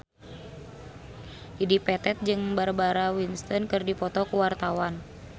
Dedi Petet jeung Barbara Windsor keur dipoto ku wartawan